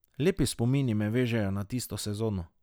Lepi spomini me vežejo na tisto sezono.